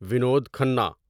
Vinod Khanna